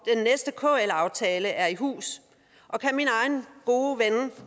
næste kl aftale er i hus og kan min egen gode ven